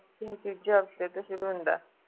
ਉਹ ਦੂਜੇ ਹਫਤੇ ਤੋਂ ਸ਼ੁਰੂ ਹੁੰਦਾ ਹੈ